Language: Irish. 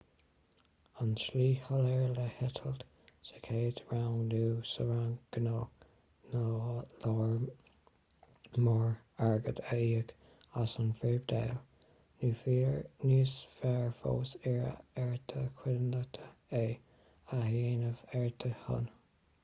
an tslí shoiléir le heitilt sa chéad rang nó sa rang gnó ná lear mór airgid a íoc as an bpribhléid nó níos fearr fós iarraidh ar do chuideachta é a dhéanamh ar do shon